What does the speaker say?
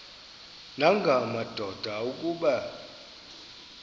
nanga madoda kuba